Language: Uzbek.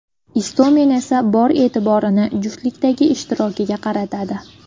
Istomin esa bor e’tiborini juftlikdagi ishtirokiga qaratadi.